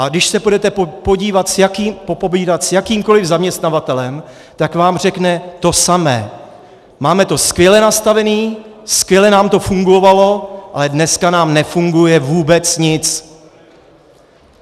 A když si půjdete popovídat s jakýmkoliv zaměstnavatelem, tak vám řekne to samé: máme to skvěle nastavené, skvěle nám to fungovalo, ale dneska nám nefunguje vůbec nic.